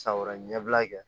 San wɛrɛ ɲɛbila kɛ